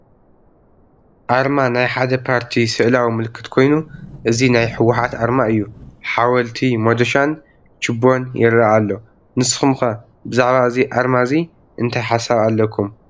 ኣርማ ናይ ሓደ ፓርቲ ስእላዊ ምልክት ኮይኑ እዚ ናይ ህ ወ ሓ ት ኣርማ እዩ፡፡ ሓወልቲ፣ ሞዶሻን ችቦን ይረአ ኣሎ፡፡ ንስኹም ከ ብዛዕባ እዚ ኣርማ እዚ እንታይ ሓሳብ ኣለኩም?